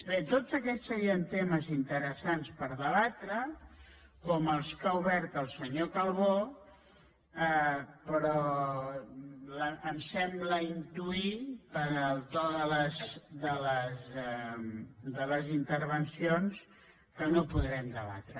bé tots aquests serien temes interessants per debatre com els que ha obert el senyor calbó però em sembla intuir pel to de les intervencions que no podrem debatre